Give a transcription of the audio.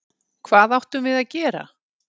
Hvað áttum við að gera?